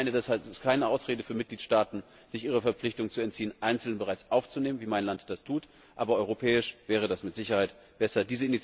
Das ist keine Ausrede für Mitgliedstaaten, sich ihrer Verpflichtung zu entziehen, einzelne bereits aufzunehmen wie mein Land das tut aber auf europäischer Ebene wäre das mit Sicherheit besser.